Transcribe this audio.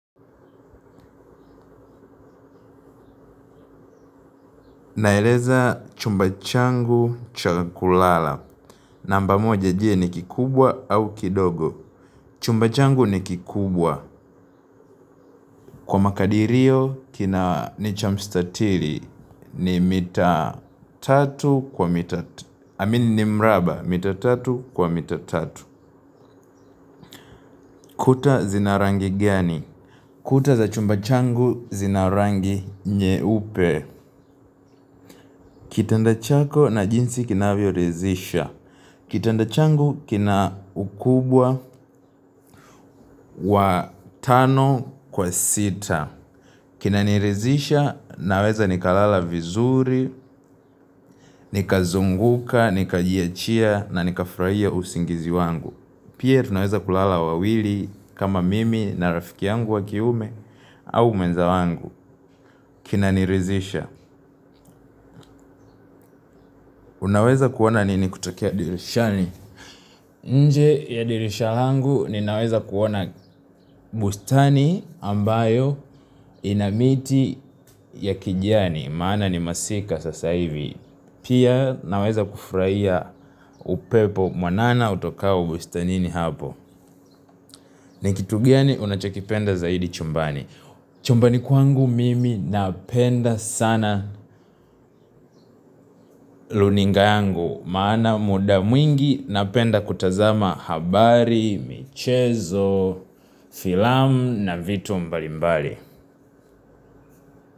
Naeleza chumba changu cha kulala. Namba moja je ni kikubwa au kidogo. Chumba changu ni kikubwa. Kwa makadirio kina ni cha mstatiri ni mita tatu kwa mita tatu. I mean ni mraba mita tatu kwa mita tatu. Kuta zina rangi gani? Kuta za chumba changu zina rangi nyeupe. Kitanda chako na jinsi kinavyo ridhisha. Kitanda changu kina ukubwa wa tano kwa sita. Kinaniridhisha naweza nikalala vizuri, nikazunguka, nikajiachia na nikafurahia usingizi wangu. Pia tunaweza kulala wawili kama mimi na rafiki yangu wa kiume au mwenza wangu. Kinaniridhisha. Unaweza kuona nini kutokia dirishani? Nje ya dirisha langu ninaweza kuoana bustani ambayo ina miti ya kijani, maana ni masika sasa hivi, pia naweza kufurahia upepo mwanana utokao bustanini hapo. Ni kitu gani unachokipenda zaidi chumbani. Chumbani kwangu mimi napenda sana runinga yangu. Maana muda mwingi napenda kutazama habari, michezo, filamu na vitu mbalimbali.